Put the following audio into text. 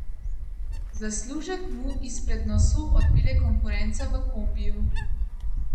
Zaslužek mu izpred nosu odpelje konkurenca v kombiju.